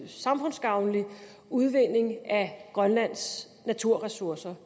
samfundsgavnlig udvinding af grønlands naturressourcer